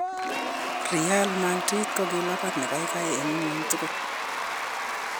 "Real Madrid ko kilabut nekaikai eng ngwony tugul..